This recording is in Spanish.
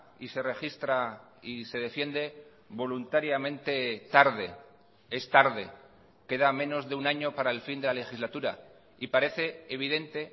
y se registra y se defiende voluntariamente tarde es tarde queda menos de un año para el fin de la legislatura y parece evidente